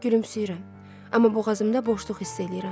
Gülümsəyirəm, amma boğazımda boşluq hiss eləyirəm.